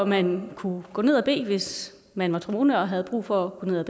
man kunne gå ned at bede hvis man var troende og havde brug for at gå ned og